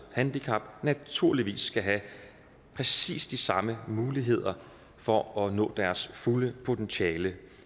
handicap naturligvis skal have præcis de samme muligheder for at nå deres fulde potentiale